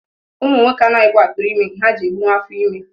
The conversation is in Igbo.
Ụmụ nwoke anaghịkwa atụrụ ime nke ha ji ebunwu afọ ime